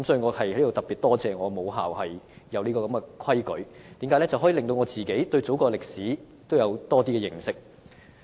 我在此特別感謝我的母校訂立有關規定，讓我對祖國歷史有多些認識。